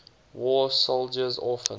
war soldiers orphans